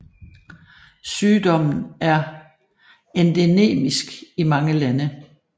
Sygdommen er endemisk i mange lande